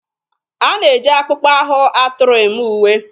A na-eji akpụkpọ ahụ atụrụ eme uwe.